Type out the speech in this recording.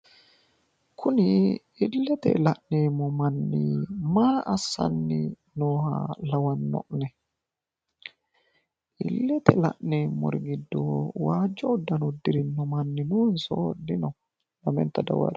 kuni illete la'neemmo manni maa assanni nooha lawanno'ne? illete la'neemmori giddo waajo uddano uddirinno manni noonso dino? lamenta dawarie.